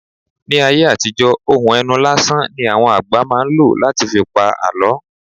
Ní ayé àtijọ́ ohùn ẹnu lásán ní àwọn àgbà máa ń ló láti fi pa àlọ́